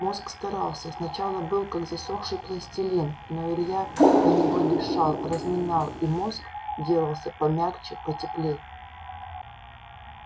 мозг старался сначала был как засохший пластилин но илья на него дышал разминал и мозг делался помягче потеплей